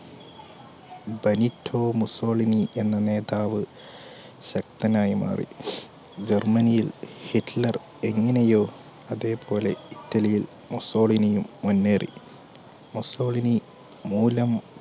Benito Mussolini എന്ന നേതാവ് ശക്തനായി മാറി ജർമനിയിൽ ഹിറ്റ്ലർ എങ്ങനയോ അതെ പോലെ ഇറ്റലിയിൽ മുസ്സോളിനിയും മുന്നേറി മുസോളിനി മൂലം